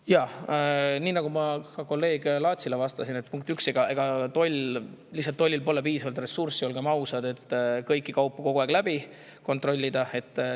Jaa, nii nagu ma ka kolleeg Laatsile vastasin, punkt üks, olgem ausad, ega tollil pole piisavalt ressurssi, et kõiki kaupu kogu aeg kontrollida.